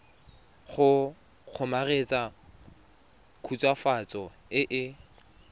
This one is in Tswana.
go kgomaretsa khutswafatso e e